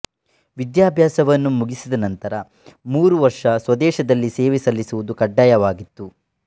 ವಿದ್ಯಾಭ್ಯಾಸವನ್ನು ಮುಗಿಸಿದ ನಂತರ ಮೂರು ವರ್ಷ ಸ್ವದೇಶದಲ್ಲಿ ಸೇವೆ ಸಲ್ಲಿಸುವುದು ಕಡ್ಡಾಯವಾಗಿತ್ತು